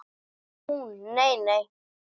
Hún: Nei nei.